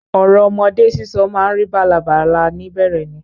Ọ̀rọ̀ ọmọdé sísọ ma ń rí bálabàla ni bẹ̀rẹ̀ ni.